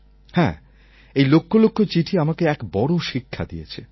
হ্যাঁ এই লক্ষ লক্ষ চিঠি আমাকে এক বড় শিক্ষা দিয়েছে